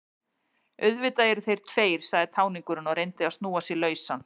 Auðvitað eru þeir tveir, sagði táningurinn og reyndi að snúa sig lausan.